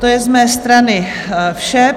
To je z mé strany vše.